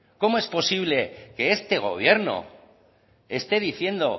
cómo es posible que este gobierno esté diciendo